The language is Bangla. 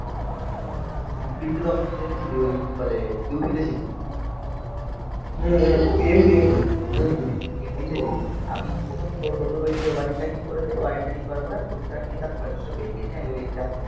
হ্যাঁ. তুই তখন ওই কি বলে ইউ পি তে ছিলি MP, MP, MP তে ছিলি আমি প্রথম, টোটোর ওই যে ওয়ারিংটা ঠিক করেছে, ওয়ারিংটা ঠিক করার পরে আমি টোটোটা নিয়ে তার পরের দিন তো বেরিয়েছে. আমি বলি